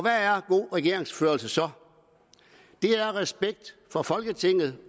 er god regeringsførelse så det er respekt for folketinget